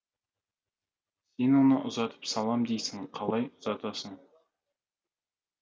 сен оны ұзатып салам дейсің қалай ұзатасың